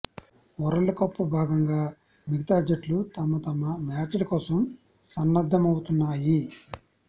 world cup భాగంగా మిగతా జట్లు తమ తమ మ్యాచ్ల కోసం సన్నద్దమవుతున్నాయి